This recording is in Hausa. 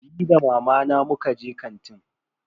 Ni da mamana muka je kantin.